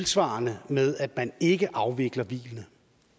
svarer det med at man ikke afvikler hvilet